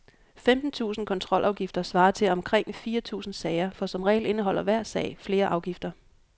Femten tusinde kontrolafgifter svarer til omkring fire tusinde sager, for som regel indeholder hver sag flere afgifter.